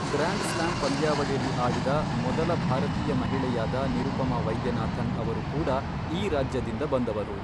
Grand slam ಪಂದ್ಯಾವಳಿಯಲ್ಲಿ ಆಡಿದ ಮೊದಲ ಭಾರತೀಯ ಮಹಿಳೆಯಾದ ನಿರುಪಮಾ ವೈದ್ಯನಾಥನ್ ಅವರು ಕೂಡ ಈ ರಾಜ್ಯದಿಂದ ಬಂದವರು.